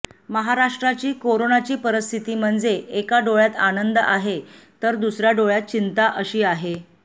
महाराष्ट्राची कोरोनाची परिस्थिती म्हणजे एका डोळ्यात आनंद आहे तर दुसऱ्या डोळ्यात चिंता अशी आहे